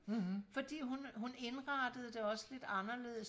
fordi hun hun indrettede det også lidt anderledes